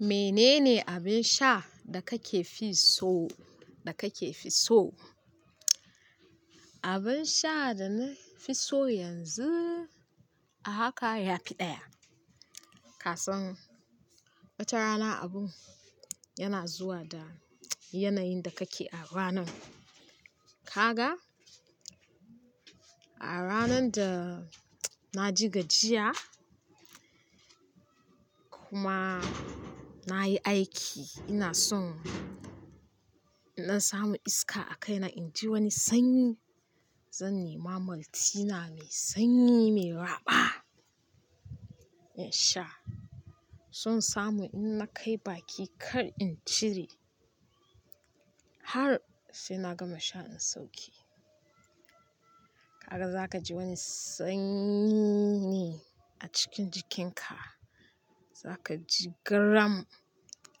"Mene ne abin sha da kake fi so?" Abin sha da na fi so yanzu, a haka ya fi ɗaya. Kasan wata rana abun yana zuwa da yanayin da kake a ranan. Ka ga, a ranan da na ji gajiya kuma na yi aiki, ina son in ɗan samu iska a kaina in ji wani sanyi. Zan nema maltina mai sanyi mai raɓa in sha. Zan samu in na kai baki kar in cire har sai na gama sha in sauke. Ka ga za ka ji wani sanyi a cikin jikinka, za ka ji gram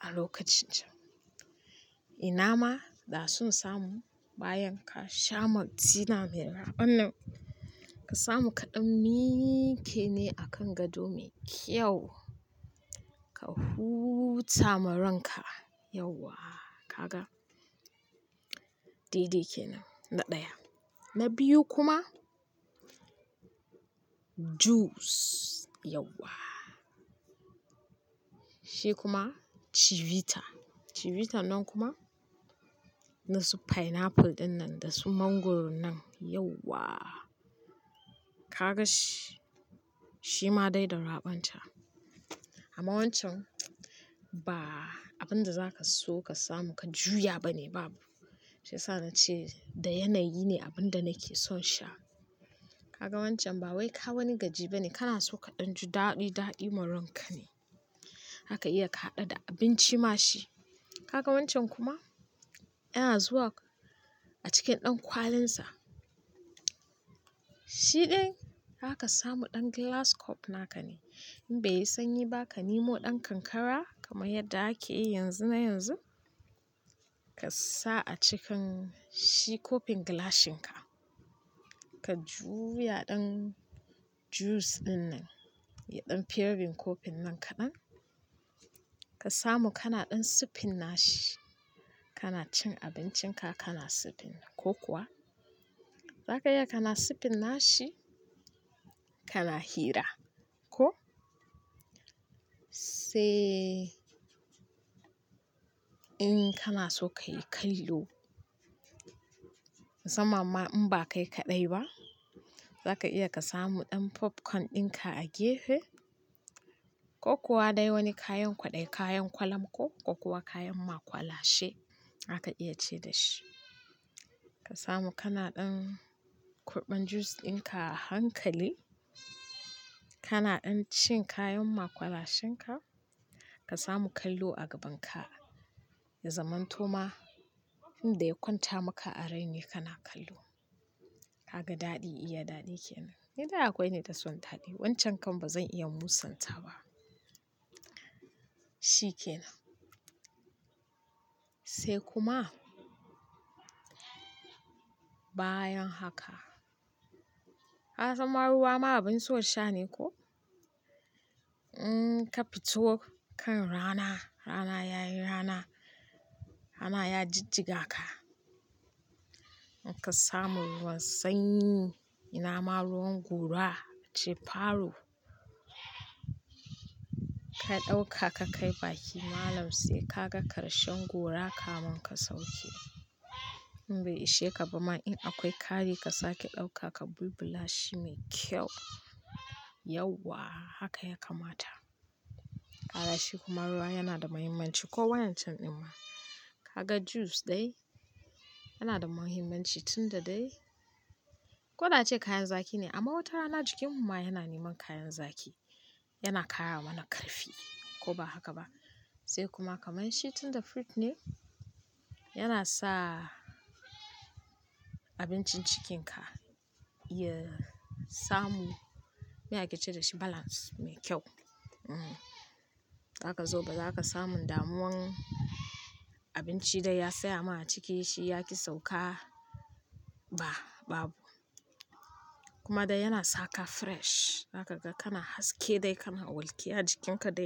a lokacin can. Ina ma da son samu bayan ka sha maltina mai raɓan nan, ka samu kaɗan miƙe ne a kan gado mai kyau ka huta maranka. Yauwa, ka ga, dai-dai kenan na ɗaya. Na biyu kuma juice yauwa, shi kuma chivita. Chivita nan kuma na su pineapple ɗin nan da su mangoro nan yauwa. Ka ga shi, shi ma dai da raɓan sa. Amma wancan ba abin da za ka so ka samu ka juya ba ne babu. Shiyasa na ce da yanayi ne abin da nake son sha. Ka ga wancan ba wai ka wani gajiba ne, kana so ka ɗan ju daɗi-daɗi maranka ne. Haka iya ka haɗa da abinci ma shi. Ka ga wancan kuma yana zuwa a cikin ɗan kwalin sa. Shiɗin zaka samu ɗan glass cup na ka ne. In bai yi sanyi ba, ka nemo ɗan kankara kamar yadda ake yi yanzu na yanzu ka sa a cikin shi cupin glasshin ka. Ka juya ɗan juice ɗin nan da ɗan pearin cupin nan kaɗan ka samu kana ɗan sippin nashi. Kana cin abincinka kana sippin ko kuwa za ka iya kana sippin nashi kana hira, ko? Sai in kana so ka yi kallo. Musamma ma in ba kai kaɗai ba, za ka iya ka samu ɗan popcorn ɗin ka a gefe ko kuwa dai wani kayan kwaɗayi, kayan kwalam ko, ko kuwa kayan maƙwalashe haka iya ce da shi. Ka samu kana ɗan kurɓan juice ɗin ka hankali, kana ɗan cin kayan maƙwalashen ka, ka samu kallo a gaban ka. Ya zaman toma, inda ya kwanta maka a raini kana kallo. Ka ga daɗi iya daɗi kenan. Ni dai akwai ni da son daɗi. Wancan kam ba zan iya musanta ba. Shi kenan. Sai kuma bayan haka, ka san ma ruwa ma abin so sha ne koh? In ka fito kan rana, rana ya yi rana, rana ya jijjiga ka, in ka samu ruwan sanyi, ina ma ruwan gora ace "Faro." Ka ɗauka ka kai baki malam sai ka ga ƙarshen gora kamun ka sauke. In bai ishe ka ba ma in akwai kaji ka sake ɗauka ka bulbula shi mai kyau. Yauwa haka ya kamata. Kaga shi kuma ruwa yana da muhimmanci ko wayan can amma ka ga juice dai yana da muhimmanci tunda dai ko na ce kayan zaki ne amma wata rana jikin mu ma yana neman kayan zaki. Yana karawa na karfi ko ba haka ba. Sai kuma kamar shi tunda fruit ne, yana sa abincin cikin ka iya samu me ake ce da shi balance mai kyau. Za ka zo ba za ka samu damuwan abinci da ya fiya ma a ciki shi ya ki sauka ba, babu. Kuma dai yana sa ka fresh. Haka ka ga kana haske dai kana walkiya jikin ka dai.